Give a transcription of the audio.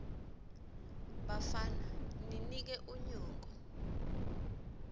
bafana ninike unyoko